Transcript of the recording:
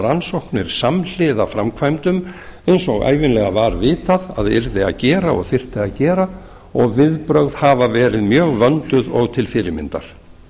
rannsóknir samhliða framkvæmdum eins og ævinlega var vitað að yrði að gera og þyrfti að gera og viðbrögð hafa verið mjög vönduð og til fyrirmyndar